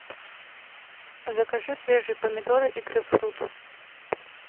закажи свежие помидоры и грейпфрут